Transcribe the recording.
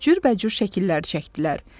Cürbəcür şəkillər çəkdilər.